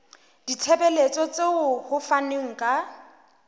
ditshebeletso tseo ho fanweng ka